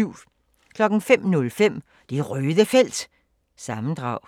05:05: Det Røde Felt – sammendrag